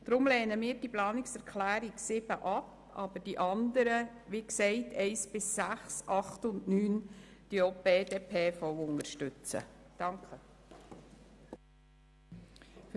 Deshalb lehnen wir die Planungserklärung 7 ab, aber die übrigen unterstützen wir.